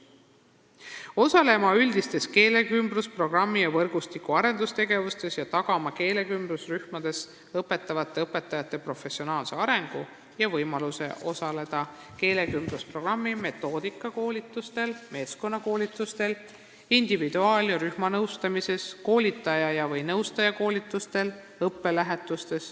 Lasteaed peab osalema üldistes keelekümblusprogrammi ja -võrgustiku arendustegevustes ning tagama keelekümblusrühmades õpetavate õpetajate professionaalse arengu: võimaluse osaleda keelekümblusprogrammi metoodikakoolitustel, meeskonnakoolitustel, individuaal- ja rühmanõustamisel, koolitaja ja/või nõustaja koolitustel, õppelähetustel.